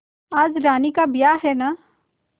आज रानी का ब्याह है न